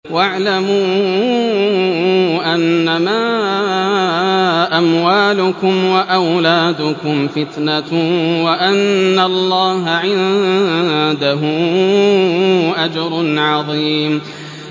وَاعْلَمُوا أَنَّمَا أَمْوَالُكُمْ وَأَوْلَادُكُمْ فِتْنَةٌ وَأَنَّ اللَّهَ عِندَهُ أَجْرٌ عَظِيمٌ